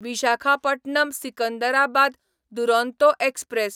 Visakhapatnam Secunderabad Duronto express